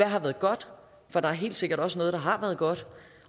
har været godt for der er helt sikkert også noget der har været godt